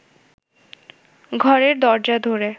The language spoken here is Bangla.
ঘরের দরজা ধরে